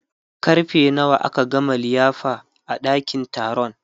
karfe nawa aka gama liyafa a ɗakin taron